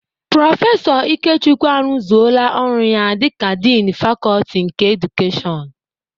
Prọfesọ Ikechukwu arụzoola ọrụ ya dịka diini fakọọti nke edukeshọn.